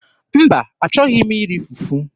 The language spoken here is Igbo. Mba, achọghị m iri fufu.